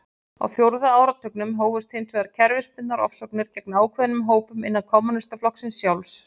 Á fjórða áratugnum hófust hins vegar kerfisbundnar ofsóknir gegn ákveðnum hópum innan kommúnistaflokksins sjálfs.